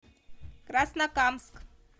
краснокамск